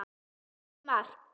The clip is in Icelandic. Æði margt.